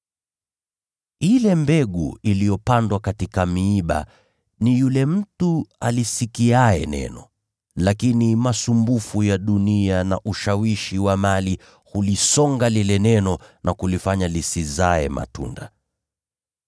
Ile mbegu iliyopandwa katika miiba ni yule mtu alisikiaye neno, lakini masumbufu ya maisha haya na udanganyifu wa mali hulisonga lile neno na kulifanya lisizae matunda.